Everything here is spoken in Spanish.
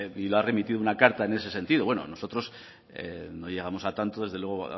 y le ha remitido una carta en ese sentido bueno nosotros no llegamos a tanto desde luego